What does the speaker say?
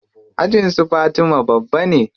Ajin su fatima babba ne.